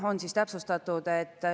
Kõigepealt, perekonnaseaduse muutmine.